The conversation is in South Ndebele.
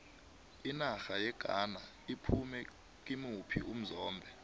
inarha yeghana iphume kimuphi umzombe